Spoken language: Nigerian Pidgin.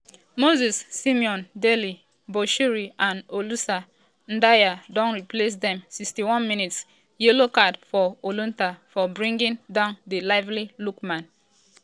moses simon dele bashiru and olisah ndah don replace dem 61 mins - yellow card for olaitan for bringing down di lively lookman.